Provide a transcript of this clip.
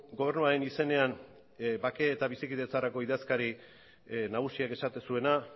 gobernuaren izenean bake eta bizikidetzarako idazkari nagusiak esaten zuena